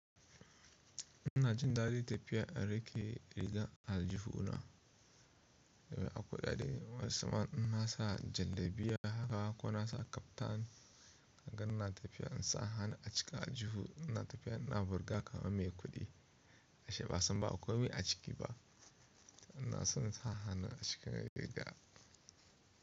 Ina jin daɗi tafiya a rake riga aljihu ina yawa akuɗaɗe, wai sama in na sa jallabiya haka ko na sa kaftan hangan na tafiya in sa hana acika aljihu ina tafiya ina burga kama mai kuɗi ashe ba san ba akwai aciki ba ina son sa hana acika riga.